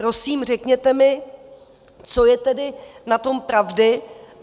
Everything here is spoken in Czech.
Prosím, řekněte mi, co je tedy na tom pravdy.